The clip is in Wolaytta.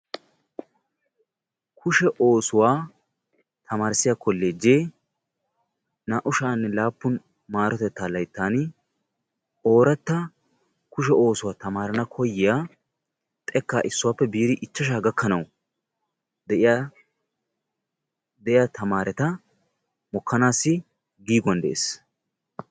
Kushshe oosuwaa tamarissiyaa kollejee naa"u sha"anne laappun marotettaa layttaani oratta kushshe oosuwaa tamara koyiyaa xekkaa issuwaappe biidi ichchashshaa gakkanawu de'iyaa tamaaretta mokkanassi giiguwaan de'ees.